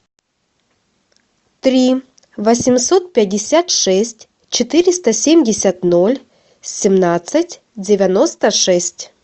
три восемьсот пятьдесят шесть четыреста семьдесят ноль семнадцать девяносто шесть